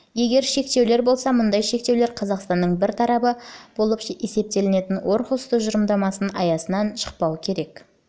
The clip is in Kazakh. егер шектеулер болса мұндай шектеулер қазақстан бір тарабы болып есептелетін орхусс тұжырымдамасының аясынан шықпауы керек